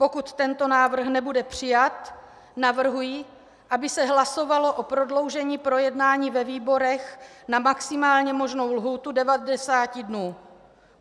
Pokud tento návrh nebude přijat, navrhuji, aby se hlasovalo o prodloužení projednání ve výborech na maximálně možnou lhůtu 90 dnů.